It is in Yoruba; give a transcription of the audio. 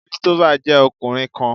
Christopher jẹ ọkunrin kan